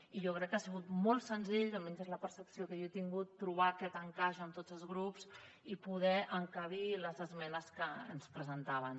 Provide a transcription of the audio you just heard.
i jo crec que ha sigut molt senzill almenys és la percepció que jo n’he tingut trobar aquest encaix amb tots els grups i poder hi encabir les esmenes que ens presentaven